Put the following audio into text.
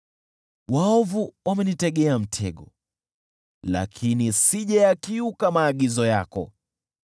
Waovu wamenitegea mtego, lakini sijayakiuka maagizo yako.